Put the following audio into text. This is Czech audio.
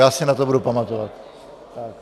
Já si na to budu pamatovat.